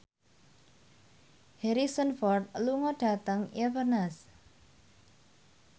Harrison Ford lunga dhateng Inverness